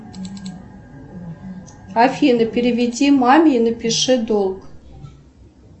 афины переведи маме и напиши долг